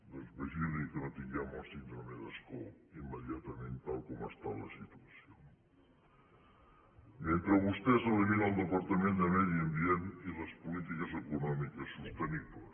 doncs vigili que no tinguem la síndrome d’ascó immediatament tal com està la situació no mentre vostès eliminen el departament de medi ambient i les polítiques econòmiques sostenibles